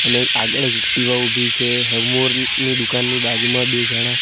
અને આગળ એક એક્ટિવા ઊભી છે હેવમોર ની દુકાનની બાજુમાં બે જણા--